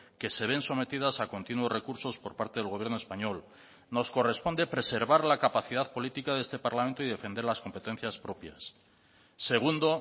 que se ven sometidas a continuos recursos por parte del gobierno español nos corresponde preservar la capacidad política de este parlamento y defender las competencias propias segundo